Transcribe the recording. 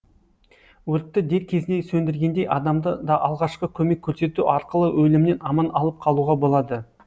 өртті дер кезінде сөндіргендей адамды да алғашқы көмек көрсету арқылы өлімнен аман алып қалуға болады